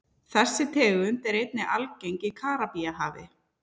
Þessi tegund er einnig algeng í Karíbahafi.